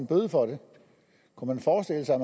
bøde for det kunne man forestille sig at